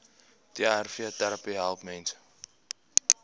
trvterapie help mense